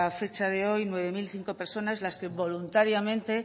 fecha de hoy nueve mil cinco personas las que voluntariamente